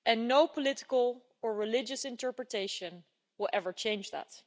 No political or religious interpretation will ever change that.